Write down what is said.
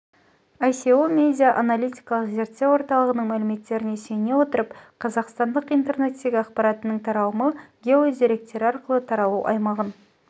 ое медиа аналитикалық зерттеу орталығының мәліметтеріне сүйене отырып қазақстандық интернеттегі ақпаратының таралымы гео деректері арқылы таралу аймағын